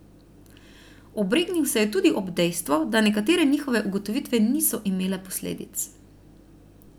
Obregnil se je tudi ob dejstvo, da nekatere njihove ugotovitve niso imele posledic.